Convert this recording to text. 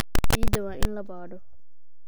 Ciidda waa in la baadho.